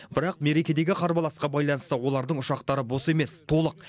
бірақ мерекедегі қарбаласқа байланысты олардың ұшақтары бос емес толық